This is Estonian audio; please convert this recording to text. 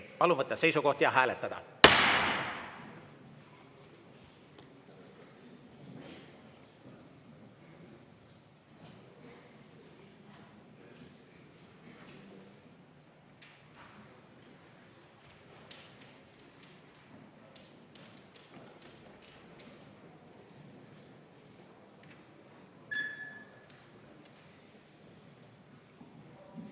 Palun võtta seisukoht ja hääletada!